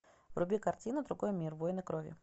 вруби картину другой мир войны крови